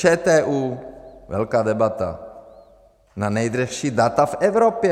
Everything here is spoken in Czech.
ČTÚ, velká debata na nejdražší data v Evropě.